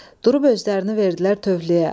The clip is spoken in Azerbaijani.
Durub özlərini verdilər töhfəyə.